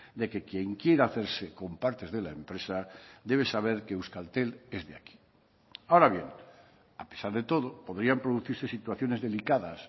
de que quien quiera hacerse con partes de la empresa debe saber que euskaltel es de aquí ahora bien a pesar de todo podrían producirse situaciones delicadas